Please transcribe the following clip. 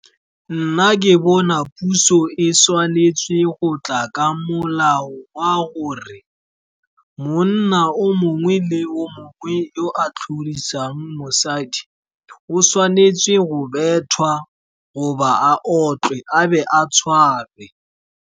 Nna ke bona puso e tshwanetse go tla ka molao wa gore monna o mongwe le o mongwe o a tlhorisang mosadi o tshwanetse go bethwa, goba a otlwe, a bo a tshwarwe.